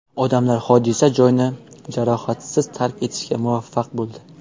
Odamlar hodisa joyini jarohatsiz tark etishga muvaffaq bo‘ldi.